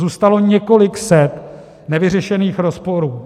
Zůstalo několik set nevyřešených rozporů.